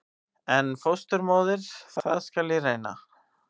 En fósturmóðir- það skal ég reyna.